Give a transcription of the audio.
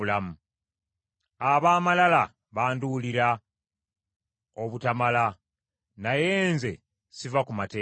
Ab’amalala banduulira obutamala, naye nze siva ku mateeka go.